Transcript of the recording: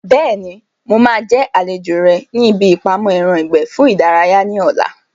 Bẹ́ẹ̀ni, mo máa jẹ́ àlejò rẹ ní ibi ìpamọ́ ẹran ìgbẹ́ fún ìdárayá ní ọ̀la